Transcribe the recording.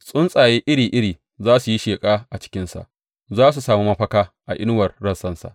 Tsuntsaye iri iri za su yi sheƙa a cikinsa; za su sami mafaka a inuwar rassansa.